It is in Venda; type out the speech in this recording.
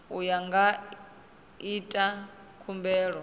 uyo a nga ita khumbelo